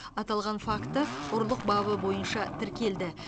аталған факті ұрлық бабы бойынша тіркелді